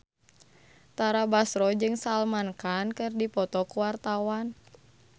Tara Basro jeung Salman Khan keur dipoto ku wartawan